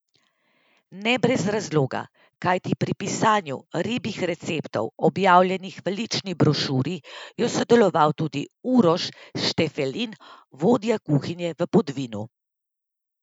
Ne brez razloga, kajti pri pisanju ribjih receptov, objavljenih v lični brošuri, je sodeloval tudi Uroš Štefelin, vodja kuhinje v Podvinu.